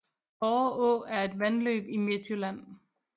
Borre Å er et vandløb i Midtjylland